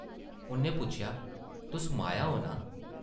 उʼन्नै पुच्छेआ, ‘‘तुस माया ओ नां?’’